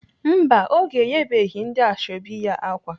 Mba, Oge enyebeghị ndị ashọbị ya ákwà.